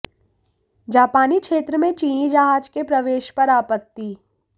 जापानी क्षेत्र में चीनी जहाज के प्रवेश पर आपत्ति